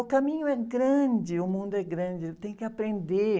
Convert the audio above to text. O caminho é grande, o mundo é grande, tem que aprender.